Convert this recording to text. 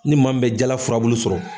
Ni maa min bɛ jala furabulu sɔrɔ